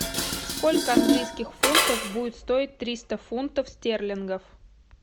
сколько английских фунтов будет стоить триста фунтов стерлингов